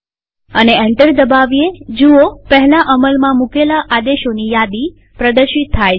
અને એન્ટર દબાવીએજુઓ પહેલા અમલમાં મુકેલા આદેશોની યાદી પ્રદર્શિત થાય છે